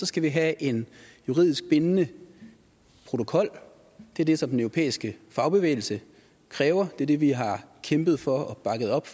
skal vi have en juridisk bindende protokol det er det som den europæiske fagbevægelse kræver det er det vi har kæmpet for og bakket op